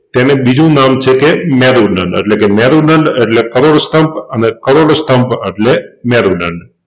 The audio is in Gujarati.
તેને બીજું નામ છે કે મેરુદંડ એટલે કે મેરુદંડ એટલે કરોડસ્તંભ અને કરોડસ્તંભ અટલે મેરુદંડ.